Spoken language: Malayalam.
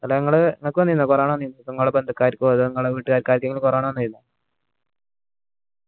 ഇങ്ങള് ഇങ്ങൾക് വന്നീന corona ഇങ്ങള ബന്ധുകാരിക്കൊ അതോ ഇങ്ങടെ വീട്ടുകാരിക്കോ ആർക്കെങ്കിലും corona വന്നിനോ